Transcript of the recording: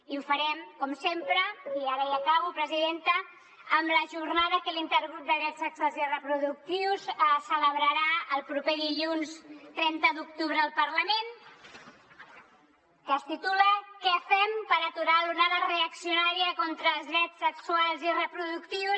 i ho farem com sempre i ara ja acabo presidenta amb la jornada que l’intergrup de drets sexuals i reproductius celebrarà el proper dilluns trenta d’octubre al parlament que es titula què fem per aturar l’onada reaccionària contra els drets sexuals i reproductius